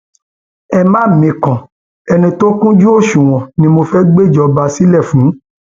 ẹ má mikàn ẹni tó kúnjú òṣùwọn ni mo fẹẹ gbéjọba sílẹ fún